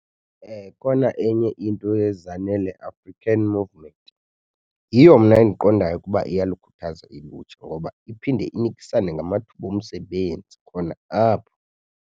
Khona enye into yeZanele African Movement, yiyo mna endiqondayo ukuba iyalukhuthaza ilutsha ngoba iphinde inikisane ngamathuba omsebenzi khona apho.